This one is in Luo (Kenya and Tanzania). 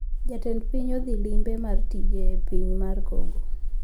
jatend piny odhi limbe mar tich e piny mar congo